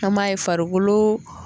An b'a ye farikolo